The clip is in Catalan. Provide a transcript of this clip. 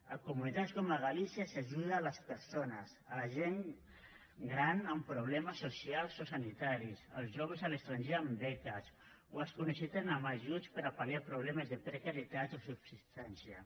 a comunitats com galícia s’ajuda les persones la gent gran amb problemes socials o sanitaris els joves a l’estranger amb beques o els que ho necessiten amb ajuts per a pal·liar problemes de precarietat o subsistència